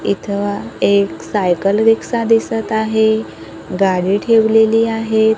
इथं एक cycle rickshaw दिसत आहे गाडी ठेवलेली आहेत.